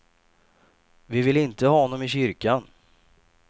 Vi vill inte ha honom i kyrkan.